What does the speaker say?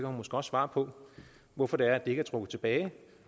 hun måske svare på hvorfor det er ikke er trukket tilbage